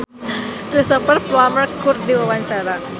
Aura Kasih olohok ningali Cristhoper Plumer keur diwawancara